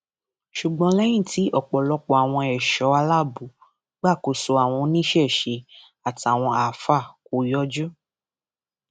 ṣùgbọn lẹyìn tí ọpọlọpọ àwọn ẹṣọ aláàbò gbàkóso àwọn oníṣẹṣe àtàwọn àáfàá kò yọjú